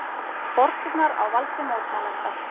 Borgirnar á valdi mótmælenda